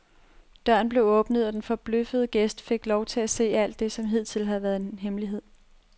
Døren blev åbnet, og den forbløffede gæst fik lov til at se alt det, som hidtil havde været en hemmelighed.